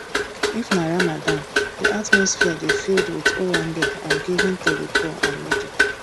if na ramadan di atmosphere dey filled with owambe and giving to di poor and needy